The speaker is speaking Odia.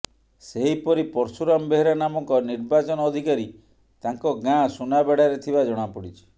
ସେହିପରି ପର୍ଶୁରାମ ବେହେରା ନାମକ ନିର୍ବାଚନ ଅଧିକାରୀ ତାଙ୍କ ଗାଁ ସୁନାବେଡାରେ ଥିବା ଜଣାପଡିଛି